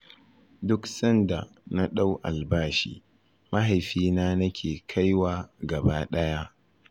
Duk sanda na ɗau albashi, mahaifina nake kaiwa gaba ɗaya.